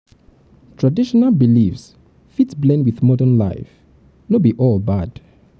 traditional beliefs fit blend wit modern life; no be all bad.